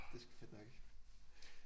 Det sgu fedt nok